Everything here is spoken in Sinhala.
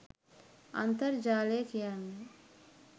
අන්තර්ජාලය කියන්නේ